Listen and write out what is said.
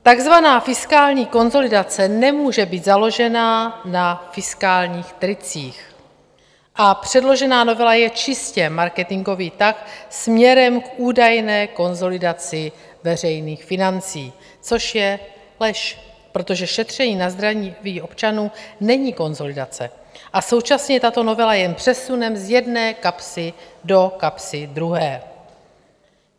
Takzvaná fiskální konsolidace nemůže být založena na fiskálních tricích a předložená novela je čistě marketingový tah směrem k údajné konsolidaci veřejných financí, což je lež, protože šetření na zdraví občanů není konsolidace, a současně tato novela jen přesune z jedné kapsy do kapsy druhé.